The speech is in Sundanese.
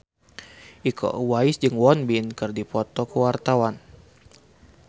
Iko Uwais jeung Won Bin keur dipoto ku wartawan